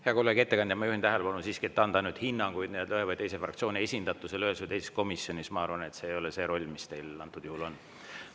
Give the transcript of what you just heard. Hea kolleeg, ettekandja, ma juhin tähelepanu, et anda hinnanguid ühe või teise fraktsiooni esindatusele ühes või teises komisjonis, ma arvan, ei ole see roll, mis teil antud juhul on.